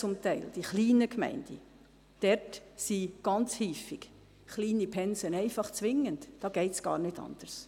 Dort sind kleine Pensen ganz häufig einfach zwingend, da geht es gar nicht anders.